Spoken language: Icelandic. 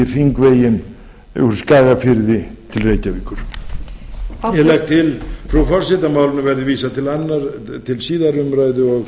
hringveginn úr skagafirði til reykjavíkur ég legg til frú forseti að málinu verði vísað til síðari umræðu og